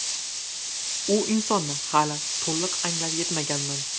U insonni hali to‘liq anglab yetmaganman.